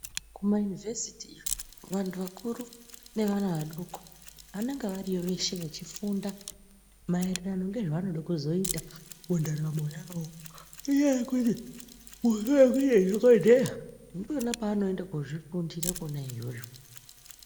Kumayunivhesiti iyo vantu vakuru nevana vadoko vanenge variyo veshe vechifunda maererano ngezvevanoda kuzoita mundaramo yavo ngenyaya yekuti vaya vanoda kuzoita madhokodheya ndikwona kwavanoenda koozvifundira kwona iyoyo.